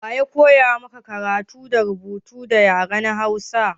Wa ya koya maka rubutu da karatu da yaren hausa?